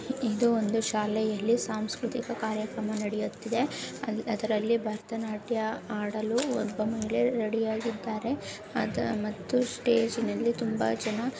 ಇದು ಒಂದು ಶಾಲೆಯಲ್ಲಿ ಸಾಂಸ್ಕೃತಿಕ ಕಾರ್ಯಕ್ರಮ ನಡೆಯುತ್ತಿದೆ. ಅದ್ರಲ್ಲಿ ಭರತನಾಟ್ಯ ಆಡಲು ಒಬ್ಬ ಮಹಿಳೆ ರೆಡಿ ಯಾಗಿದ್ದಾರೆ ಮತ್ತು ಸ್ಟೇಜಿನಲ್ಲಿ ತುಂಬಾ ಜನ--